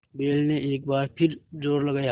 बैल ने एक बार फिर जोर लगाया